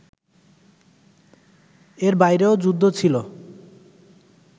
এর বাইরেও যুদ্ধ ছিল